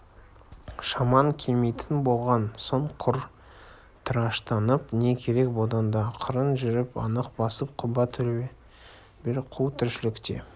шамаң келмейтін болған соң құр тыраштанып не керек одан да ақырын жүріп анық басып құба төбел қу тіршілікте